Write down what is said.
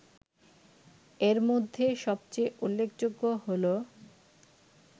এর মধ্যে সবচেয়ে উল্লেখযোগ্য হলো